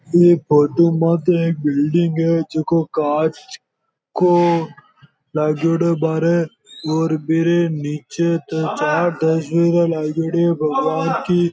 एक फोटो माते एक बिल्डिंग है जोको कांच को लागेड़ो है बाहरे और बिरे निचे चार तस्वीरें लागेड़ी है भगवान् की।